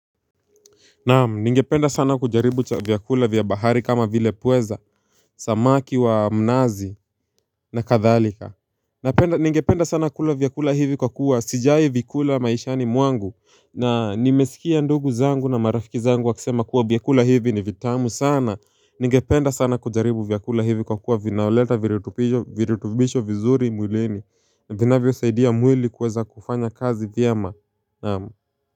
Naam, ningependa sana kujaribu vyakula vyabahari kama vile pweza, samaki wa mnazi na kadhalika ningependa sana kula vyakula hivi kwa kuwa sijawai vikula maishani mwangu na nimesikia ndugu zangu na marafiki zangu wakisema kuwa vyakula hivi ni vitamu sana Ningependa sana kujaribu vyakula hivi kwa kuwa vinaleta virutubisho vizuri mwileni vinavyo saidia mwili kuweza kufanya kazi vyema Naam.